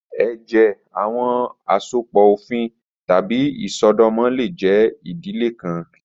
Ẹjẹ, awọn asopọ ofin tabi isọdọmọ le jẹ idile kan